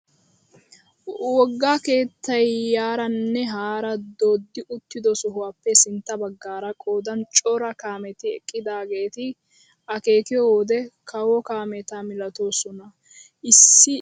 Wogga keettay yaaranne haara dooddi uttido sohuwaappe sintta baggaara qoodan cora kaameti eqqidaageti akeekiyoo wode kawo kaameta milatoosona issi izaawaba milatokkona!